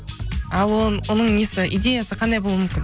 ал оның несі идеясы қандай болуы мүмкін